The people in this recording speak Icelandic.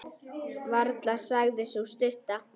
Varla, sagði sú stutta.